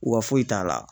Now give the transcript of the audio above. Wa foyi t'a la